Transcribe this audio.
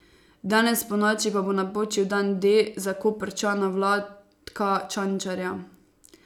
Danes ponoči pa bo napočil dan D za Koprčana Vlatka Čančarja.